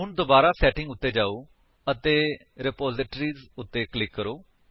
ਹੁਣ ਦੁਬਾਰਾ ਸੈਟਿੰਗ ਉੱਤੇ ਜਾਓ ਅਤੇ ਰਿਪਾਜ਼ਿਟਰੀਜ਼ ਉੱਤੇ ਕਲਿਕ ਕਰੋ